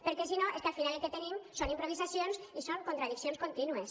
perquè si no és que al final el que tenim són improvisacions i són contradiccions contínues